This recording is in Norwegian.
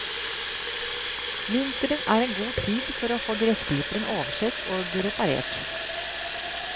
Vinteren er en god tid for å få gressklipperen oversett og reparert.